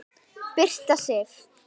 Birta Sif.